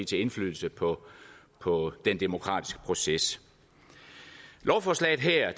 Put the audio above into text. til indflydelse på på den demokratiske proces lovforslaget her